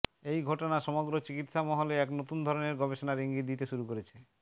এই ঘটনা সমগ্র চিকিৎসা মহলে এক নতুন ধরনের গবেষণার ইঙ্গিত দিতে শুরু করেছে